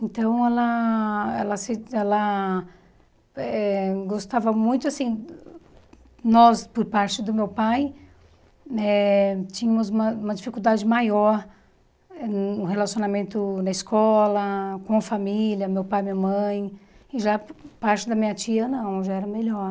Então, ela ela se ela eh gostava muito, assim, nós, por parte do meu pai, eh tínhamos uma uma dificuldade maior no relacionamento na escola, com a família, meu pai e minha mãe, e já por parte da minha tia, não, já era melhor.